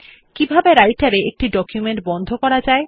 কিভাবে রাইটের এ একটি ডকুমেন্ট বন্ধ করা যায়